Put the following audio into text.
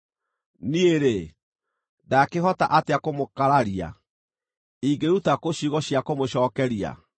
“Niĩ-rĩ, ndaakĩhota atĩa kũmũkararia? Ingĩruta kũ ciugo cia kũmũcookeria?